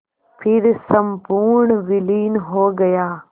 फिर संपूर्ण विलीन हो गया